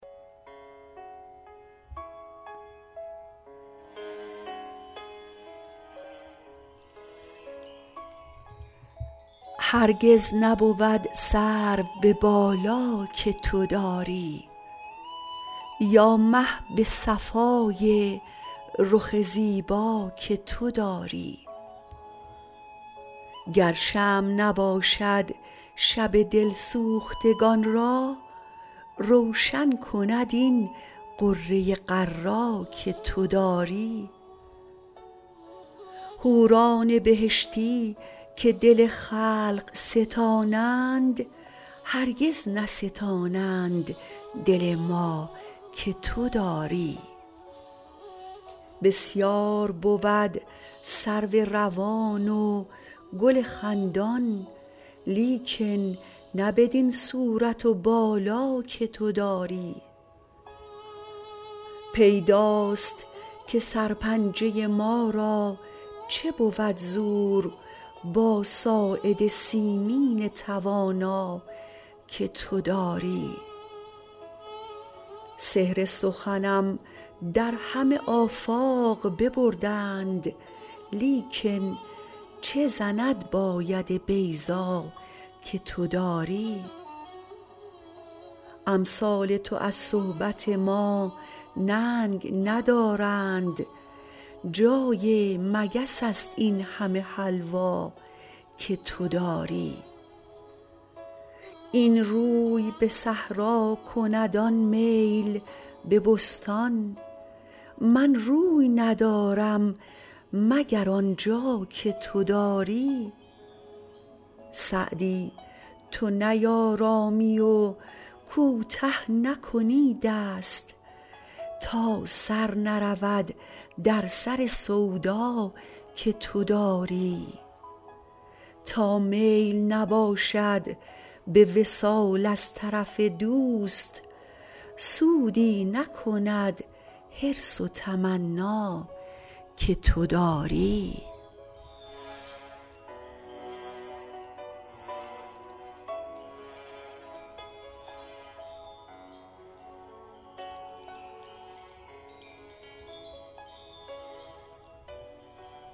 هرگز نبود سرو به بالا که تو داری یا مه به صفای رخ زیبا که تو داری گر شمع نباشد شب دل سوختگان را روشن کند این غره غر‍ ا که تو داری حوران بهشتی که دل خلق ستانند هرگز نستانند دل ما که تو داری بسیار بود سرو روان و گل خندان لیکن نه بدین صورت و بالا که تو داری پیداست که سرپنجه ما را چه بود زور با ساعد سیمین توانا که تو داری سحر سخنم در همه آفاق ببردند لیکن چه زند با ید بیضا که تو داری امثال تو از صحبت ما ننگ ندارند جای مگس است این همه حلوا که تو داری این روی به صحرا کند آن میل به بستان من روی ندارم مگر آن جا که تو داری سعدی تو نیآرامی و کوته نکنی دست تا سر نرود در سر سودا که تو داری تا میل نباشد به وصال از طرف دوست سودی نکند حرص و تمنا که تو داری